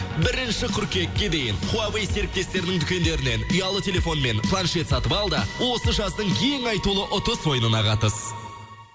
бірінші қыркүйекке дейін хуавей серіктестерінің дүкендерінен ұялы телефон мен планшет сатып ал да осы жаздың ең айтулы ұтыс ойынына қатыс